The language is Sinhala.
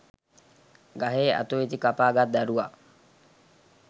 ගහේ අතු ඉති කපා ගත් දරුවා